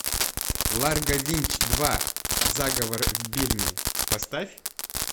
ларго винч два заговор в бирме поставь